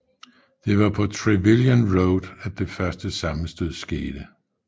Det var på Trevilian Road at det første sammenstød skete